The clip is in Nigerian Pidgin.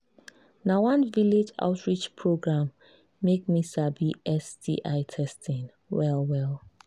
na one village outreach program make me sabi sti testing well well